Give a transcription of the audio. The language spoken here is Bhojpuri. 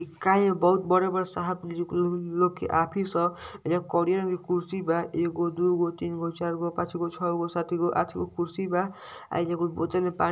इ काय बहुत बड़े-बड़े साहब जी लोग के ऑफिस ह। एहिजा करिया रंग के कुर्सी बा। एगो दुगो तीन गो चार गो पाँच गो छौ गो सात गो आठ गो कुर्सी बा। एहिजा कुल बोतल में पा --